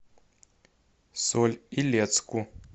соль илецку